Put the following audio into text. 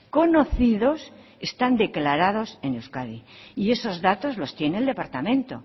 conocidos están declarados en euskadi y esos datos los tiene el departamento